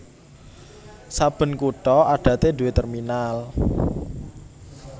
Saben kutha adaté duwé terminal